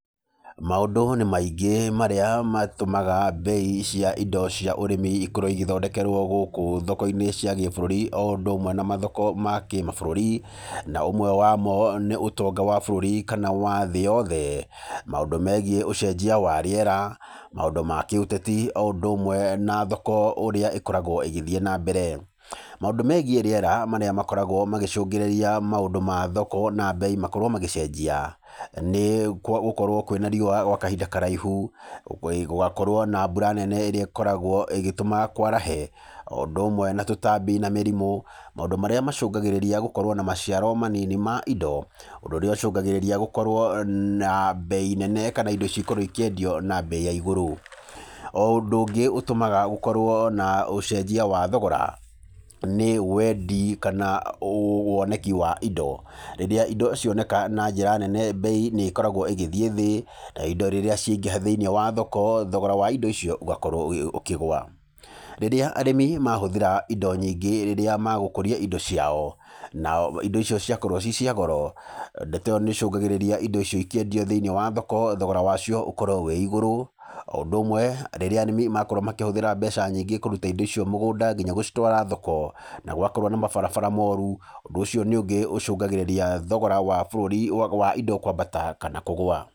Maũndũ nĩ maingĩ marĩa matũmaga bei cia indo cia ũrĩmi ikorwo cigĩthondekerwo gũkũ thoko-inĩ cia gĩbũrũri, o ũndũ ũmwe na mathoko ma kĩmabũrũri, na ũmwe wamo nĩ ũtonga wa bũrũri kana wa thĩ yothe, maũndũ megiĩ ũcenjia wa rĩera, maũndũ ma kĩũteti, o ũndũ ũmwe na thoko ũrĩa ĩkoragwo ĩgĩthiĩ na mbere. Maũndũ megiĩ rĩera marĩa makoragwo magĩcũngĩrĩria maũndũ ma thoko na bei makorwo magĩcenjia, nĩ gũkorwo kwĩna riũa gwa kahinda karaihu, gũkorwo na mbura nene ĩrĩa ĩkoragwo ĩgĩtũma kwarahe, o ũndũ ũmwe na tũtambi na mĩrimũ, maũndũ marĩa macũngagĩrĩria gũkorwo na maciaro manini ma indo, ũndũ ũrĩa ũcũngagĩrĩria gũkorwo na bei nene kana indo cikorwo ikĩendio na bei ya igũrũ. O ũndũ ũngĩ ũtũmaga gũkorwo na ũcenjia wa thogora, nĩ wendi kana woneki wa indo, rĩrĩa indo cioneka na njĩra nene bei nĩ ĩkoragwo ĩgĩthiĩ thĩ, indo rĩrĩa ciaingĩha thĩ-inĩ wa thoko, thogora wa indo icio ũgakorwo ũkĩgũa. Rĩrĩa arĩmi mahũthĩra indo nyingĩ rĩrĩa magũkũria indo ciao, nao indo icio ciakorwo ciĩ cia goro, ndeto ĩyo nĩ ĩcũngagĩrĩra indo icio ikĩendio thĩ-inĩ wa thoko, thogora wacio ũkorwo wĩ igũrũ, o ũndũ ũmwe rĩrĩa arĩmi makorwo makĩhũthĩra mbeca nyingĩ kũruta indo icio mũgũnda nginya gũcitwara thoko na gwakorwo na mabarabara moru, ũndũ ũcio nĩ ũngĩ ũcũngagĩrĩria thogora wa indo kwambata kana kũgũa.